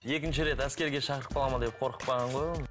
екінші рет әскерге шақырып қалады ма деп қорқып қалған ғой ол